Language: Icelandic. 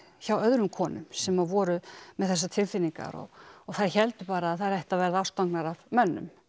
hjá öðrum konum sem að voru með þessar tilfinningar og þær héldu bara að þær ættu að verða ástfangnar af mönnum